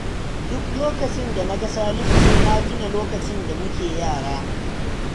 Duk lokacin da na ga Salisu sai na tuna lokacin da muke yara